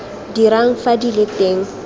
dirang fa di le teng